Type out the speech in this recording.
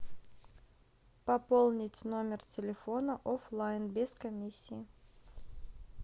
пополнить номер телефона оффлайн без комиссии